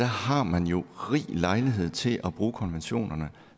har man jo rig lejlighed til at bruge konventionerne